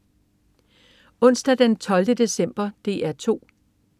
Onsdag den 12. december - DR 2: